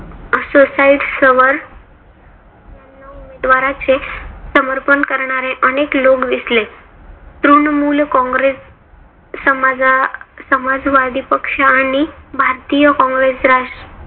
वर द्वाराचे समर्पण करणारे अनेक लोक दिसले. तृणमूल कॉंग्रेस समाजा समाजवादी पक्ष आणि भारतीय कॉंग्रेस